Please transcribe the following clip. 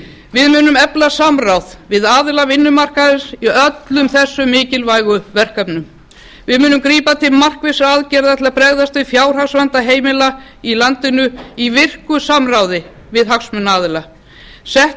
við munum efla samráð við aðila vinnumarkaðarins í öllum þessum mikilvægu verkefnum við munum grípa til markvissra aðgerða til að bregðast við fjárhagsvanda heimila í landinu í virku samráði við hagsmunaaðila sett